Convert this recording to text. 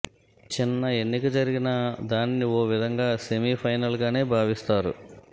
చిన్న ఎన్నిక జరిగినా దానిని ఓ విధంగా సెమీ ఫైనల్గానే భావిస్తారు